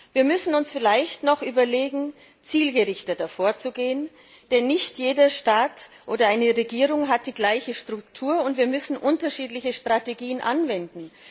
Wir müssen uns vielleicht noch überlegen, zielgerichteter vorzugehen, denn nicht jeder Staat oder jede Regierung hat die gleiche Struktur, und wir müssen unterschiedliche Strategien anwenden.